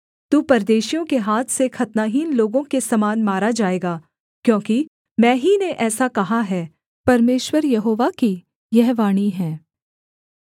तू परदेशियों के हाथ से खतनाहीन लोगों के समान मारा जाएगा क्योंकि मैं ही ने ऐसा कहा है परमेश्वर यहोवा की यह वाणी है